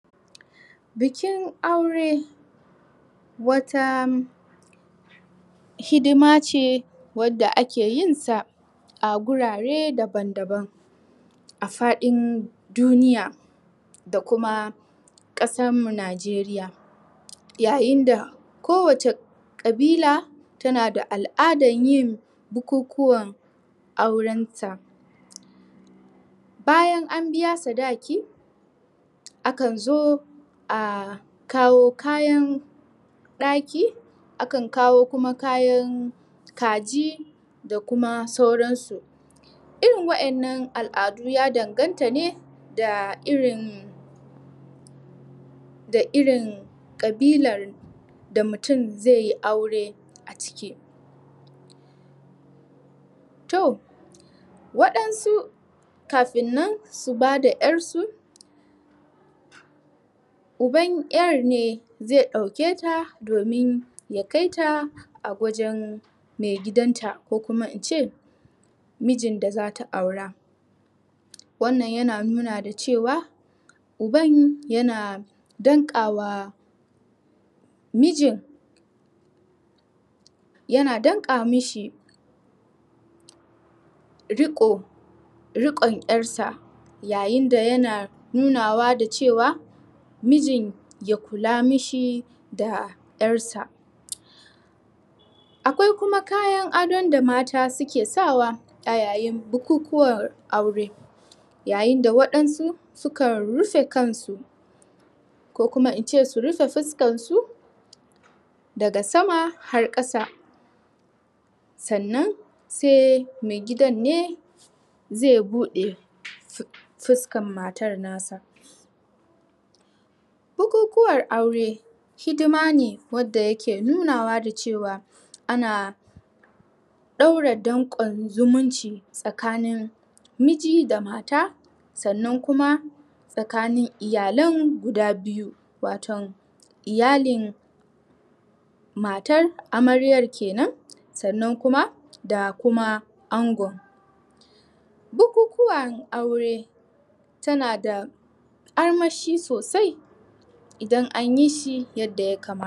Bikin aure Wata Hidima ce wadda ake yin sa A gurare daban daban A faɗin duniya Da kuma ƙasarmu nijeriya Yayin da kowacce ƙabila Tana da al'adan yin bukukuwan aurensa Bayan an biya sadaki Akan zo a kawo kayan ɗaki... Akan kawo kuma kayan Kaji da kuma sauransu Irin waɗannan al'adun ya danganta ne da irin Da irin ƙabilar da mutum ze yi aure a ciki Toh...Waɗansu kafin nan su bada 'yar su Uban 'yar ne zai ɗauke ta domin ya kai ta A wajen maigidan ta ko kuma in ce Mijin da zata aura Wannan yana nuna da cewa Uban yana danƙawa Mijin Yana danƙa mishi Riƙo... Riƙon 'yarsa Yayin da yana nunawa da cewa Mijin ya kula mishi da 'yar sa Akwai kuma kayan adon da mata suke sa wa a yayin bukukuwan aure Yayin da waɗansu su kan rufe kan su Ko kuma in ce su rufe fuskan su Daga sama har ƙasa Sannan sai maigidan ne zai buɗe fuskan matar nasa Bukukuwar aure Hidima ne wadda yake nunawa da cewa ana Ana ɗaure danƙon zumunci tsakanin Miji da mata sannan kuma Tsakanin iyalen guda biyu waton, iyalin Matar, amaryar kenan Sannan kuma da kuma angon Bukukuwan aure Tana da armashi sosai Idan an yi shi yadda ya kamata